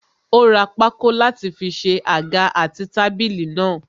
Ó ra pákó láti fi ṣe àga àti tábìlì náà.